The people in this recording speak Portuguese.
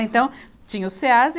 Então, tinha os CêAs e